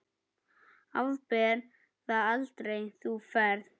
Afber það aldrei, þú ferð.